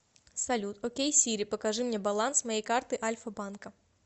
салют окей сири покажи мне баланс моей карты альфа банка